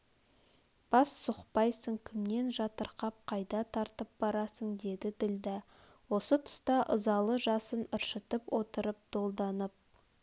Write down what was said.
бас сұқпайсың кімнен жатырқап қайда тартып барасың деді ділдә осы тұста ызалы жасын ыршытып отырып долданып